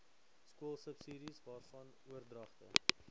skoolsubsidies waarvan oordragte